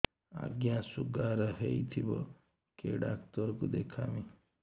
ଆଜ୍ଞା ଶୁଗାର ହେଇଥିବ କେ ଡାକ୍ତର କୁ ଦେଖାମି